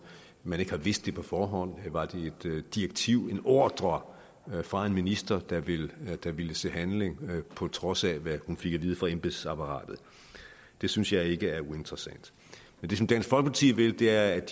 man ikke havde vidst det på forhånd var det et direktiv en ordre fra en minister der ville der ville se handling på trods af hvad hun fik at vide fra embedsapparatet det synes jeg ikke er uinteressant men det som dansk folkeparti vil er